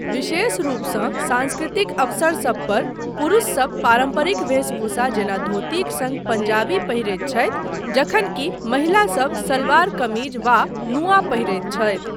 विशेष रूपसँ सांस्कृतिक अवसरसब पर, पुरुषसब पारम्परिक वेशभूषा जेना धोतीक सङ्ग पंजाबी पहिरैत छथि जखनकि महिलासब सलवार कमीज वा नूआ पहिरैत छथि।